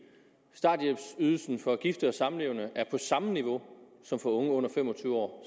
starthjælpsydelsen for gifte og samlevende er på samme niveau som for unge under fem og tyve år